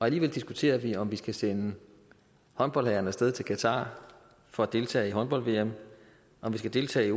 alligevel diskuterer vi om vi skal sende håndboldherrerne af sted til qatar for at deltage i håndbold vm om vi skal deltage i